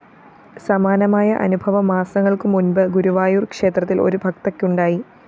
സമാനമായ അനുഭവം മാസങ്ങള്‍ക്കു മുന്‍പ് ഗുരുവായൂര്‍ ക്ഷേത്രത്തില്‍ ഒരു ഭക്തക്കുണ്ടായി